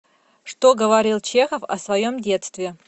что говорил чехов о своем детстве